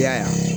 I y'a ye